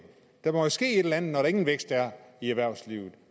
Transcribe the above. der må jo ske et eller andet når der ingen vækst er i erhvervslivet